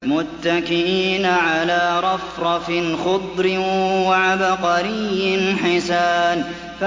مُتَّكِئِينَ عَلَىٰ رَفْرَفٍ خُضْرٍ وَعَبْقَرِيٍّ حِسَانٍ